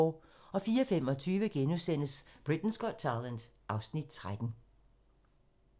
04:25: Britain's Got Talent (Afs. 13)*